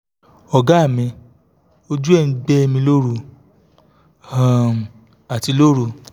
ọ̀gá mi ojú ẹ̀ ń gbẹ̀ mi lóru um àti lóru